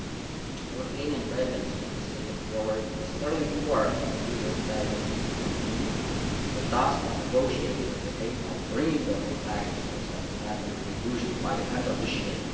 The Lithuanian Presidency has taken forward the sterling work of the previous presidencies to continue the task of negotiating with the aim of bringing the whole package to a satisfactory conclusion by the end of this year.